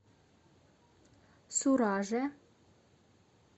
сураже